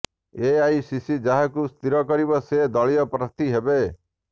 AICC ଯାହାକୁ ସ୍ଥିର କରିବ ସେ ଦଳୀୟ ପ୍ରାର୍ଥୀ ହେବେ